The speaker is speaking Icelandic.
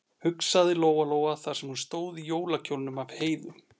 hugsaði Lóa-Lóa þar sem hún stóð í jólakjólnum af Heiðu.